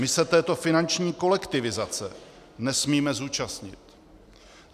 My se této finanční kolektivizace nesmíme zúčastnit.